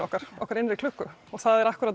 okkar okkar innri klukku það er